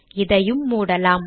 இதையும் மூடலாம்